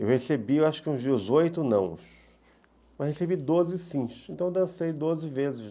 Eu recebi, acho que uns dezoito não, mas recebi doze sins, então eu dancei doze vezes.